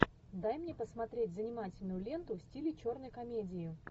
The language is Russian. дай мне посмотреть занимательную ленту в стиле черной комедии